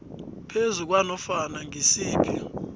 phezu kwanofana ngisiphi